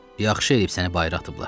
Yaxşı eləyib səni bayıra atıblar.